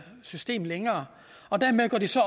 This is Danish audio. system længere og dermed går de så